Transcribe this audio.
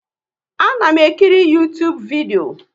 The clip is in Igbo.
A na m ekiri Uytubu vidio